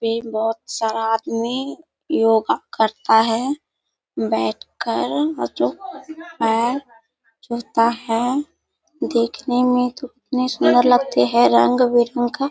भी बोहोत सारा आदमी योगा करता है बैठ कर हैं देखने में कितने सुंदर लगते हैं रंग-बिरंग का --